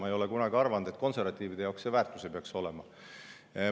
Ma ei ole kunagi arvanud, et konservatiivide jaoks see väärtuslik ei peaks olema.